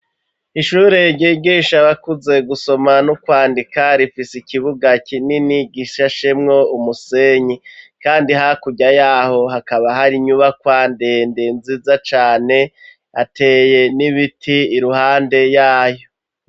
Ishuru ryigisha abakuze gusoma n'ukwandika, rifise ikibuga kinini gishashemwo umusenyi kandi hakurya yaho hakaba hari inyubakwa ndende nziza cane ateye n'ibiti iruhande yayo.